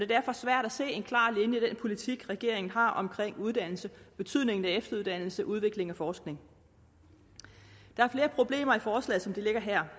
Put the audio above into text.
derfor svært at se en klar linje i den politik regeringen har omkring uddannelse betydningen af efteruddannelse udvikling og forskning der er flere problemer i forslaget som det ligger her